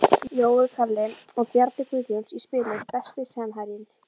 Jói Kalli og Bjarni Guðjóns í spilum Besti samherjinn?